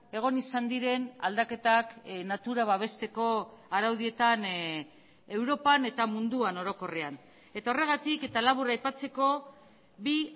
egon izan diren aldaketak natura babesteko araudietan europan eta munduan orokorrean eta horregatik eta labur aipatzeko bi